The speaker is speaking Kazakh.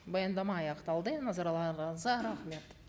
баяндама аяқталды назарларыңызға рахмет